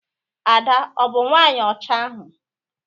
Ada ọ bụ nwaanyị ọcha ahu?